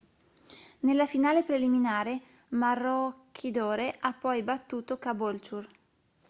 nella finale preliminare maroochydore ha poi battuto caboolture